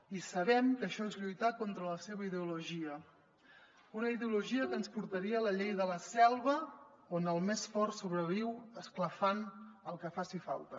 i sabem que això és lluitar contra la seva ideologia una ideologia que ens portaria a la llei de la selva on el més fort sobreviu esclafant el que faci falta